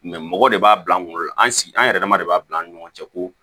mɔgɔ de b'a bila an kunkolo la an sigi an yɛrɛdama de b'a bila an ni ɲɔgɔn cɛ ko